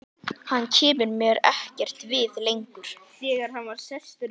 Hann kemur mér ekkert við lengur.